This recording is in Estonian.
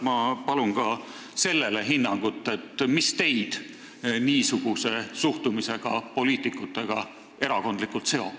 Ma palun hinnangut ka sellele, mis teid niisuguse suhtumisega poliitikutega erakondlikult seob.